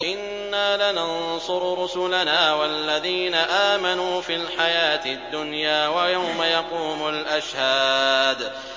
إِنَّا لَنَنصُرُ رُسُلَنَا وَالَّذِينَ آمَنُوا فِي الْحَيَاةِ الدُّنْيَا وَيَوْمَ يَقُومُ الْأَشْهَادُ